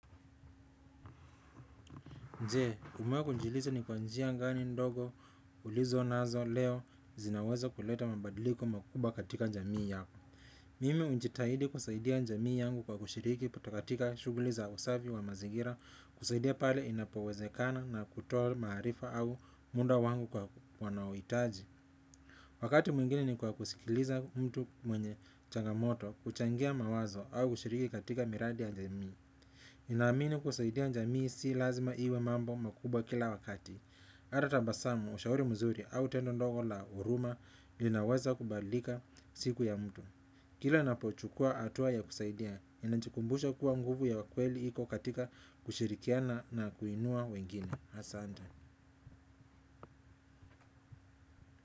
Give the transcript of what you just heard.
Nje, umewahi kujiuliza ni kwa njia gani ndogo ulizonazo leo zinaweza kuleta mabadiliko makubwa katika jamii yako. Mimi hujitahidi kusaidia jamii yangu kwa kushiriki katika shughuli za usafi wa mazingira kusaidia pale inapowezekana na kutoa maarifa au muda wangu kwa wanaouhitaji. Wakati mwingine ni kwa kusikiliza mtu mwenye changamoto, kuchangia mawazo au kushiriki katika miradi ya jamii. Ninaamini kusaidia jamii si lazima iwe mambo makubwa kila wakati hata tabasamu, ushauri mzuri au tendo ndogo la huruma inawaza kubadlika siku ya mtu kila ninapochukua hatua ya kusaidia ninajikumbusha kuwa nguvu ya kweli iko katika kushirikiana na kuinua wengine. Asante.